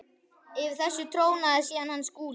Yfir þessu trónaði síðan hann Skúli.